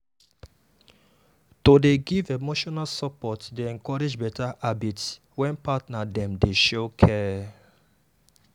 to dey give emotional support dey encourage better habits when partner dem dey show care.